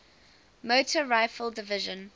motor rifle division